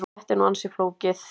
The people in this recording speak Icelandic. Þetta er nú ansi flókið.